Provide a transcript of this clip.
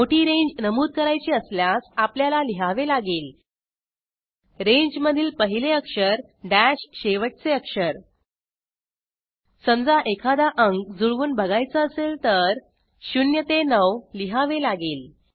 मोठी रेंज नमूद करायची असल्यास आपल्याला लिहावे लागेल रेंजमधील पहिले अक्षर दश शेवटचे अक्षर समजा एखादा अंक जुळवून बघायचा असेल तर 0 9 लिहावे लागेल